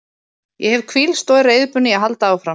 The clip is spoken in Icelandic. Ég hef hvílst og er reiðubúinn í að halda áfram.